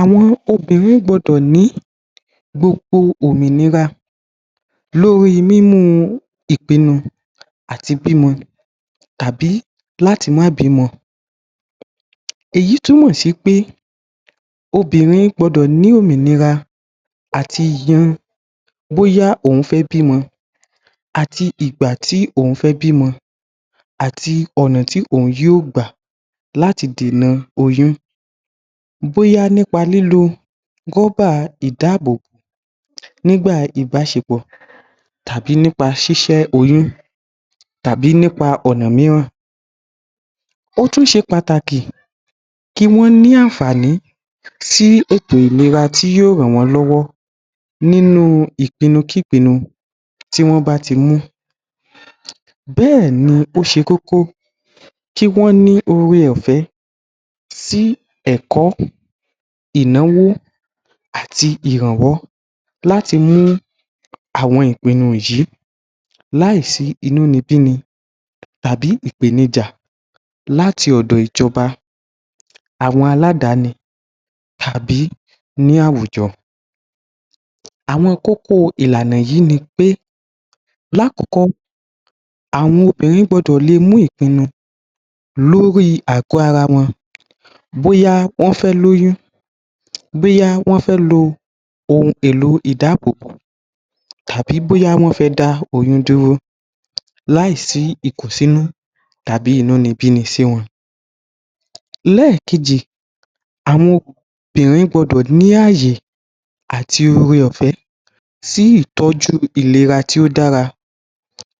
Àwọn obìrin ní gbogbo òmìnira lórí mímú ìpinu àti bímọ tàbí láti máa bí ọmọ èyí túmò sí pé obìrin gbọdọ̀ ní òmìnira àti yan bóyá òhún fẹ́ bímọ àti ìgbà tí òhun fé bímọ àti ọ̀nà tí òhun yóò gbà láti dènà oyún bọ́yá nípa lílo rọ́bà ìdáábòbò nígbà ìbáṣepọ̀ tàbí nípa ṣíṣẹ́oyún tàbí nípa ọ̀nà míràn ótún ṣe pàtàkì kí wọn ní ànfààní sí ètò ìlera tí yóò rànwón lọ́wọ́ nínú ìpinu kí pinu.tí wọ́n báti mú bẹ́ẹ̀ ni ó ṣe kókó tí wọn ní ore ọ̀fẹ́ sí ẹ̀kọ́ ìnáwó àti ìrànwọ́ láti mú àwọn ìpinu yìí láì sí inúnibíni tàbí ìpènijà láti ọ̀dọ̀ ìjọba àwọn aládáni tàbí ní àwùjọ àwọn kókó ìlànà yi nipé lákọkọ́ àwọn obìrin gbọdọ̀ mú ìpinu wọn lórí àgọ́ara wọn bóyá wọn fẹ́ lóyún bóyá wọn fé lo ohun èlò ìdáábòbò tàbí bóyá wón fé dá oyún dúró láì sí ìkù sínú tàbí inúnibíni sí wọn lẹ́ẹ̀kejì àwọn obìrin gbọdọ̀ ní àyè àti ore ọ̀fẹ́ sí ìtọjú ìlera tí ó dára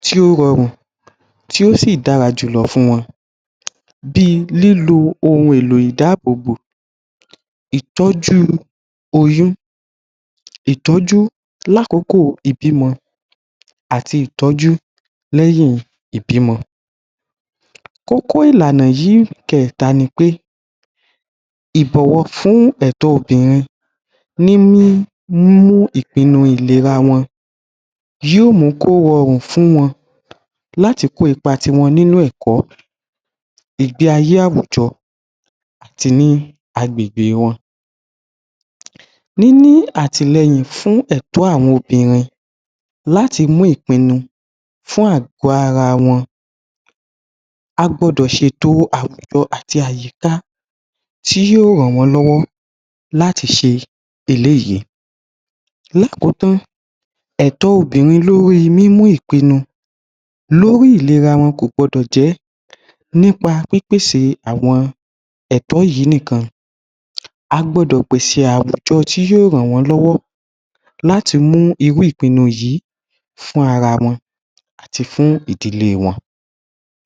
tí o rọrùn tí ó sí dára jùlọ fún wọn bíi lílo ohun èlò ìdáábòbò ìtọjú oyún ìtọ́jú lá kókó ìbímọ àti léyìn ìbí mọ kókó ìlànà yìí kẹ̀ta nipé ibọ̀wọ̀ fún ẹ̀tọ́ obìrin ní ní mí mú ìpinu ìlera wọn yóò mú kó rọrùn fún wọn láti kó ipa ti wọn nínú ẹ̀kọ́ ìgbé ayé àwùjọ àti ní a agbègbè wọn níní àtìlẹ́yìn fún ẹ̀tọ́ àwọn obìrin láti mú ìpinu fun àgọ́ara wọn a gbọdọ̀ ṣe ètò àwùjọ àti àyíká tí yóò rànwọ́n lọ́wọ́ láti ṣe eléyìí lákotán ẹ̀tọ́ obìrin lórí mímú ìpinu lórí ìlera wọn kò gbọdọ̀ jẹ́ nípa ìpèsè àwọn ẹ̀tọ́ yíì ní kan a gbọdọ̀ pèsè àwùjọ tí yóò rànwọ́n lọ́wọ́ láti mú irú ìpinu yìí fún ara wọn àti fún ìdílé wọn